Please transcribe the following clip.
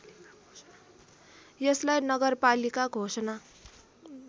यसलाई नगरपालिका घोषणा